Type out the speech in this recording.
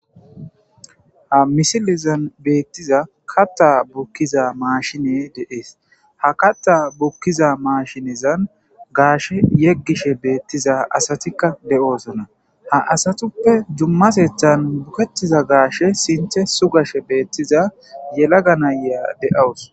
Ha misilezan beettiza katta bukkiza maashine deees ha katta bukkiza maashinezan gaashe yeggishe beettiza asatikka de'oosona ha asatuppe jummasethan bukettiza gaashe sinthe sugashe beettiza yelaga nayya de'awus.